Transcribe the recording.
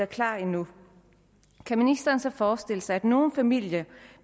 klar endnu kan ministeren så forestille sig at nogle familier